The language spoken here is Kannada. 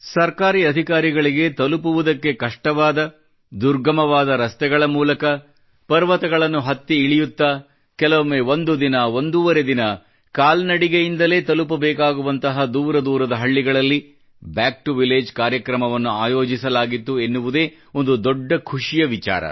ಸರ್ಕಾರಿ ಅಧಿಕಾರಿಗಳಿಗೆ ತಲುಪುವುದಕ್ಕೆ ಕಷ್ಟವಾದ ದುರ್ಗಮವಾದ ರಸ್ತೆಗಳ ಮೂಲಕ ಪರ್ವತಗಳನ್ನು ಹತ್ತಿ ಇಳಿಯುತ್ತಾ ಕೆಲವೊಮ್ಮೆ ಒಂದು ದಿನ ಒಂದೂವರೆ ದಿನ ಕಾಲ್ನಡಿಗೆ ಮಾಡಿ ತಲುಪಬೇಕಾಗುವಂತಹ ದೂರ ದೂರದ ಹಳ್ಳಿಗಳಲ್ಲಿ ಬ್ಯಾಕ್ ಟಿಒ ವಿಲ್ಲಗೆ ಕಾರ್ಯಕ್ರಮವನ್ನು ಆಯೋಜಿಸಲಾಗಿತ್ತು ಎನ್ನುವುದೇ ಒಂದು ದೊಡ್ಡ ಖುಷಿಯ ವಿಚಾರ